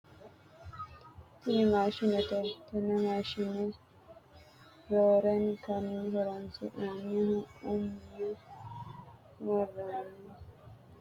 Tini maashinete tenne maashine roorenkanni horoonsi'nannihu umme worroonn kinna woy bushsha ikko shaafa hoqooqqe woy cu''mite haadhe wolu kaameelira hogowate.